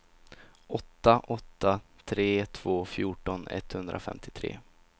åtta åtta tre två fjorton etthundrafemtiotre